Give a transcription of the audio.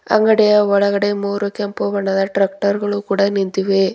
ಅಂಗಡಿಯ ಒಳಗೆ ಮೂರು ಕೆಂಪು ಬಣ್ಣದ ಟ್ರಾಕ್ಟರ್ ಗಳು ನಿಂತಿವೆ.